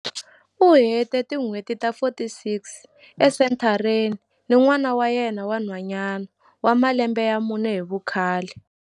U hete tin'hweti ta 46 esenthareni ni n'wana wa yena wa nhwanyana wa malembe ya mune hi vukhale.